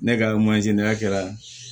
Ne ka manje n'a kɛra